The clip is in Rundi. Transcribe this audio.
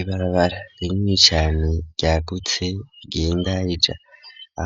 Ibarabara rinini cane ryagutse rigenda rija